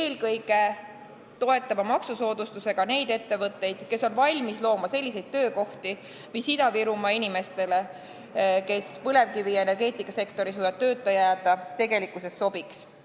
Eelkõige peaks toetama maksusoodustusega neid ettevõtteid, kes on valmis looma töökohti, mis Ida-Virumaa inimestele, kes põlevkivi- ja energeetikasektoris võivad tööta jääda, tegelikkuses sobiks.